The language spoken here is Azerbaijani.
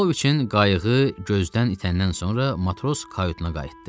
Pauloviçin qayığı gözdən itəndən sonra matros kayutuna qayıtdı.